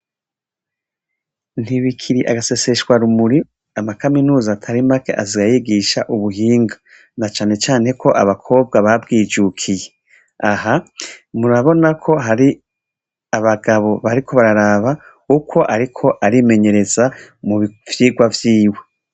Ntibikiri agaseseshwarumuri, amakaminuza atari make aza yigisha ubuhinga na cane cane ko abakobwa babwijukiye. Aha murabona ko hari abagabo bariko bararaba uko ariko arimenyereza mu vyigwa vyiwe.